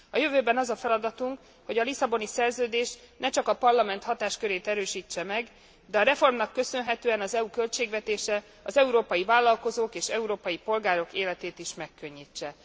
A jövőben az a feladatunk, hogy a Lisszaboni Szerződés ne csak a Parlament hatáskörét erősítse meg, de a reformnak köszönhetően az EU költségvetése az európai vállalkozók és európai polgárok életét is megkönnyítse.